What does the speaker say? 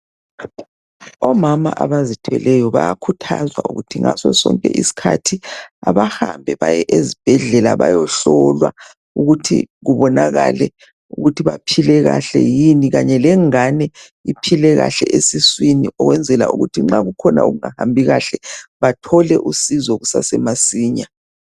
Omama abazithweleyo bayakhuthazwa ukuthi ngaso sonke isikhathi kabahambe baye ezibhedlela, bayehlolwa. Ukuthi kubonakale ukuthi baphile kahle yini. Kanye lengane iphile kahle esiswini. Ukuze nxa kukhona okungahambi kuhle, Bathole usizo kusasemasinya.